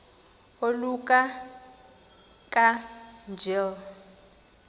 oluka ka njl